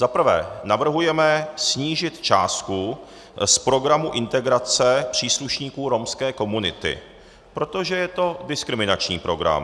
Zaprvé navrhujeme snížit částku z programu integrace příslušníků romské komunity, protože je to diskriminační program.